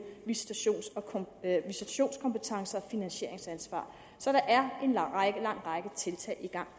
visitationskompetencer og finansieringsansvar så der er en lang række tiltag i gang